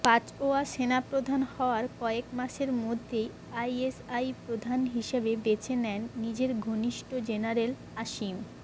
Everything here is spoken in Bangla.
বাজওয়া সেনাপ্রধান হওয়ার কয়েক মাসের মধ্যেই আইএসআই প্রধান হিসাবে বেছে নেন নিজের ঘনিষ্ঠ জেনারেল আসিম